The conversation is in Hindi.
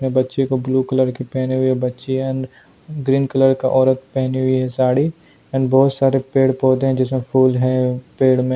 ने बच्ची को ब्लू कलर के पहने हुए बच्ची एंड ग्रीन कलर का औरत पहनी हुई है साड़ी एंड बहुत सारे पेड़-पौधे हैं जिसमें फूल है।